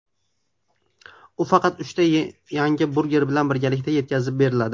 U faqat uchta yangi burger bilan birgalikda yetkazib beriladi.